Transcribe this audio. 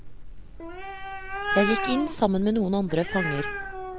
Jeg gikk inn sammen med noen andre fanger.